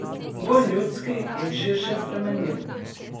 Bolj ljudski in širše sprejemljiv.